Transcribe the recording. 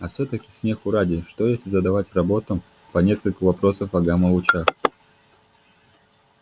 а всё-таки смеху ради что если задавать роботам по нескольку вопросов о гамма-лучах